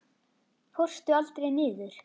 Fórstu aldrei niður?